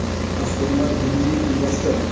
Mashhurlar milliy libosda .